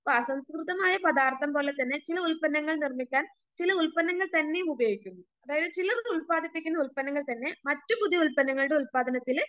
ഇപ്പൊ അസംസ്കൃതമായ പദാർത്ഥം പോലെ തന്നെ ചില ഉൽപ്പന്നങ്ങൾ നിർമ്മിക്കാൻ ചില ഉൽപ്പന്നങ്ങൾ തന്നെയും ഉപയോഗിക്കുന്നു അതായത് ചിലത് ഉത്പാദിപ്പിക്കുന്ന ഉൽപ്പന്നങ്ങൾതന്നെ മറ്റു പുതിയ ഉൽപ്പന്നങ്ങളുടെ ഉൽപാദനത്തില്